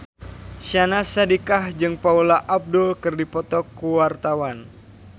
Syahnaz Sadiqah jeung Paula Abdul keur dipoto ku wartawan